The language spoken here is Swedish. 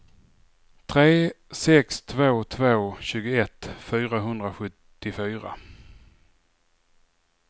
tre sex två två tjugoett fyrahundrasjuttiofyra